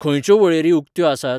खंयच्यो वळेरी उक्त्यो आसात ?